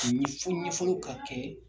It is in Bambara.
fo ɲɛfɔliw ka kɛ